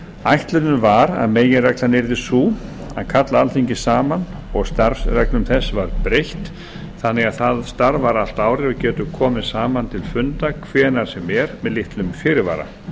ætlunin var að meginreglan yrði sú að kalla alþingi saman og starfsreglum þess var breytt þannig að það starfar allt árið og getur komið saman til funda hvenær sem er með litlum fyrirvara